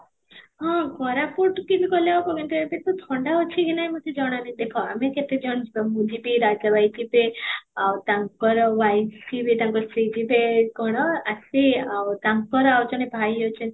ହଁ, କୋରାପୁଟ କି ବି ଗଲେ ହବ ଏମତି କେତେ ଥଣ୍ଡା ଅଛି କି ନାହିଁ ମୋତେ ଜଣା ନାହିଁ ଦେଖ ଆମେ କେତେ ଜଣ ଯିବା ମୁଁ ଯିବି, ରାଜା ଭାଇ ଯିବେ ଆଉ ତାଙ୍କର wife ଯିବେ, ତାଙ୍କର ସ୍ତ୍ରୀ ଯିବେ କ'ଣ ଆସି ଆଉ ତାଙ୍କର ଆଉ ଜଣେ ଭାଇ ଅଛନ୍ତି